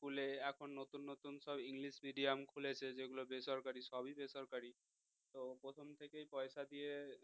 school এ এখন নতুন নতুন সব english medium খুলেছে যেগুলো বেসরকারি সবই বেসরকারি তো প্রথম থেকেই পয়সা দিয়ে